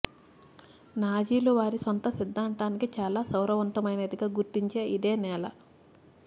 నాజీలు వారి సొంత సిద్ధాంతానికి చాలా సారవంతమైనదిగా గుర్తించిన ఇదే నేల